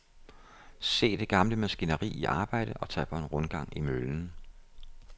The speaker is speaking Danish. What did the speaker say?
Se det gamle maskineri i arbejde og tag på en rundgang i møllen.